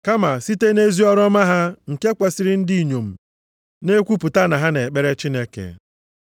Kama site nʼezi ọrụ ọma ha nke kwesiri ndị inyom na-ekwupụta na ha na-ekpere Chineke.